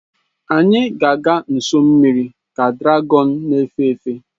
Anyị ga-aga nso mmiri ka dragọn na-efe efe.